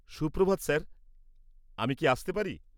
সুপ্রভাত স্যার, আমি কি আসতে পারি?